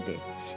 Tayger dedi.